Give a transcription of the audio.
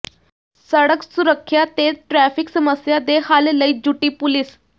ਸੜਕ ਸੁਰੱਖ਼ਿਆ ਤੇ ਟਰੈਫ਼ਿਕ ਸਮੱਸਿਆ ਦੇ ਹੱਲ ਲਈ ਜੁਟੀ ਪੁਲੀਸ